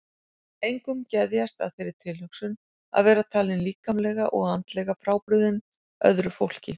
Engum geðjast að þeirri tilhugsun að vera talinn líkamlega og andlega frábrugðinn öðru fólki.